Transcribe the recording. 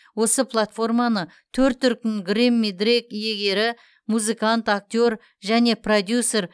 осы платформаны төрт дүркін грэмми дрейк иегері музыкант актер және продюсер